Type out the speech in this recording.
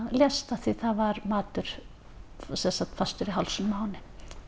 lést af því að það var matur fastur í hálsinum á henni